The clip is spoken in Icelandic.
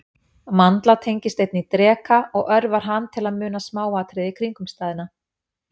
Mandla tengist einnig dreka og örvar hann til að muna smáatriði kringumstæðna.